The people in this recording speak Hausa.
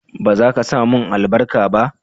ba zaka samun albarka ba?